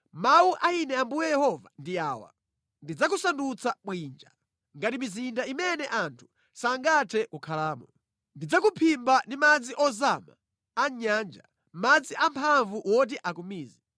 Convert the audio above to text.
“Mawu a Ine Ambuye Yehova ndi awa: Ndidzakusandutsa bwinja, ngati mizinda imene anthu sangathe kukhalamo. Ndidzakuphimba ndi madzi ozama a mʼnyanja, madzi amphamvu woti akumize.